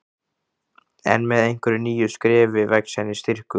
En með hverju nýju skrefi vex henni styrkur.